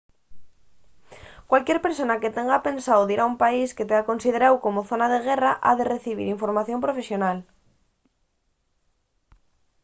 cualquier persona que tenga pensao dir a un país que tea consideráu como zona de guerra ha recibir formación profesional